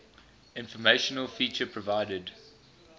informational feature provided